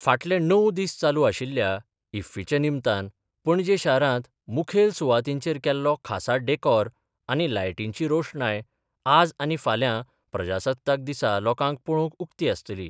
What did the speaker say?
फाटले णव दीस चालू आशिल्ल्या इफ्फीचे निमतान पणजे शारांत मुखेल सुवातींचेर केल्लो खासा डॅकोर आनी लायटींची रोषणाय आज आनी फाल्यां प्रजासत्ताक दिसा लोकांक पळोवंक उक्ती आसतली.